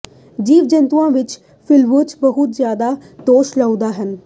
ਜੀਵ ਜੰਤੂਆਂ ਵਿਚ ਫਿਊਲਜ਼ ਬਹੁਤ ਜ਼ਿਆਦਾ ਦੋਸ਼ ਲਾਉਂਦੇ ਹਨ